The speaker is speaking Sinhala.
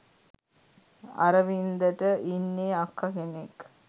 අරවින්ද ට ඉන්නේ අක්ක කෙනෙක්